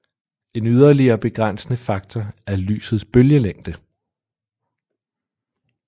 En yderligere begrænsende faktor er lysets bølgelængde